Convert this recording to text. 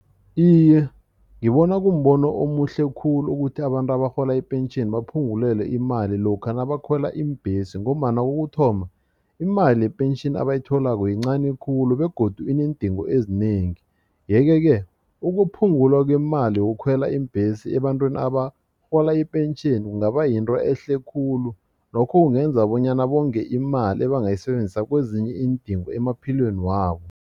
Iye, ngibona kumbono omuhle khulu ukuthi abantu abarhola ipentjheni baphungulelwe imali lokha nabakhwela iimbhesi ngombana kokuthoma imali yepentjheni abayitholako yincani khulu begodu ineendingo ezinengi yeke-ke ukuphungula kwemali yokukhwela iimbhesi ebantwini abarhola ipentjheni kungaba yinto ehle khulu lokho kungenza bonyana bonge imali ebangayisebenzisa kwezinye iindingo emaphilweni wabo.